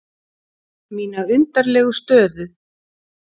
Mína undarlegu stöðu.